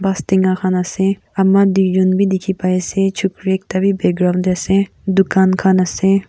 bastenga khan ase ama duijun b dikhi pai ase chukiri ekta b background de ase dukan khan ase.